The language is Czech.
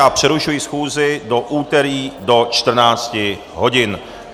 Já přerušuji schůzi do úterý do 14.00 hodin.